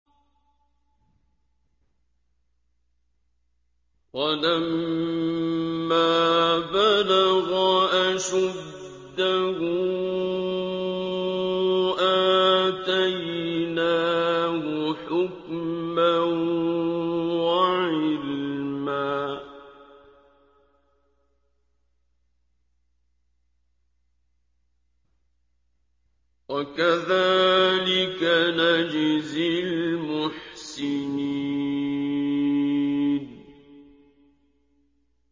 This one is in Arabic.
وَلَمَّا بَلَغَ أَشُدَّهُ آتَيْنَاهُ حُكْمًا وَعِلْمًا ۚ وَكَذَٰلِكَ نَجْزِي الْمُحْسِنِينَ